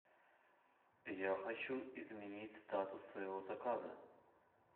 я хочу изменить статус своего заказа